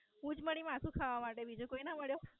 હું જ મળી માથું ખાવા માટે બીજો કોઈ ના મળ્યો?